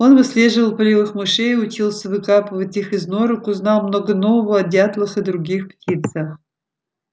он выслеживал полевых мышей и учился выкапывать их из норок узнал много нового о дятлах и других птицах